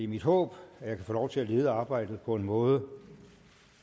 mit håb at jeg kan få lov til at lede arbejdet på en måde